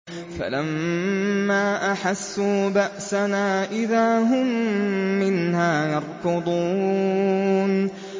فَلَمَّا أَحَسُّوا بَأْسَنَا إِذَا هُم مِّنْهَا يَرْكُضُونَ